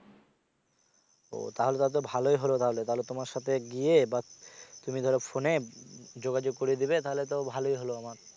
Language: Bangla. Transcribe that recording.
ও তাহলে তো ভালোই হলো তাহলে তোমার সাথে গিয়ে বা তুমি ধরো ফোনে যোগাযোগ করে দিবে তাহলে তো ভালই হলো আমার